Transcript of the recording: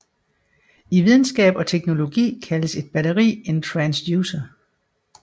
I videnskab og teknologi kaldes et batteri en transducer